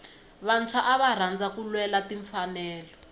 vantshwa ava rhandza ku lwela timfanelo